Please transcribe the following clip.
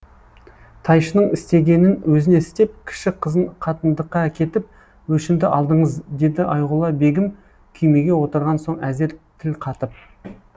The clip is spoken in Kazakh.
тайшының істегенін өзіне істеп кіші қызын қатындыққа әкетіп өшімді алдыңыз деді айғұла бегім күймеге отырған соң әзер тіл қатып